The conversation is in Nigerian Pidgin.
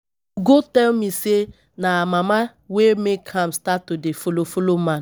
Ugo tell me say na her mama wey make am start to dey follow follow man